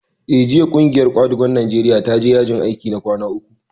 Eh, jiya ƙungiyar ƙwadagon Najeriya ta je yajin aiki na kwana uku